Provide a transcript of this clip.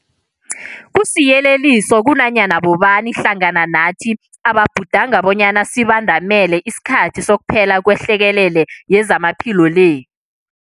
Kusiyeleliso kunanyana bobani hlangana nathi ababhudanga bonyana sibandamele isikhathi sokuphela kwehlekelele yezamaphilo le.